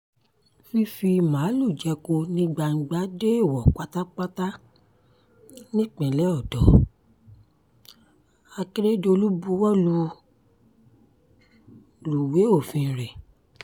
fífi máàlùú jẹko ní gbangba dẹẹ́wò pátápátá nípínlẹ̀ ọ̀dọ́ akérèdọ́lù buwọ́ buwọ́ lúwẹ̀ òfin rẹ̀